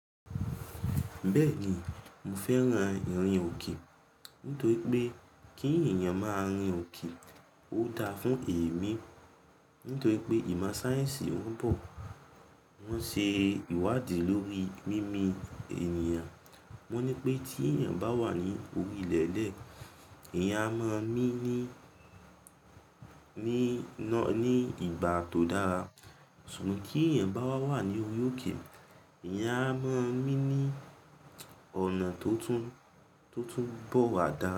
Bẹ́ẹ̀ni, mo fẹ́ran ìrìn òkè nítorí pé kí èèyàn má a rìn òkè ó da fún èémí nítorí pé ìmọ̀ sáyẹ́ǹsì wọn bọ̀, wọ́n ṣe ìwádìí lórí mímí ènìyàn. Wọ́n ní pé tí èèyàn bá wà ní orí ilẹ̀lẹ̀, èèyàn a mọ mí ní, ní, ní ìgbà tó dára. Ṣùgbọ́n tí èèyàn bá wá wà ní orí òkè èèyàn a mọ mí ní ọ̀nà tó tún, tó tún bọ̀ wá dára.